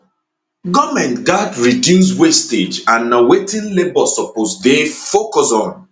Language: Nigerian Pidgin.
goment gatz reduce wastage and na wetin labour suppose dey focus on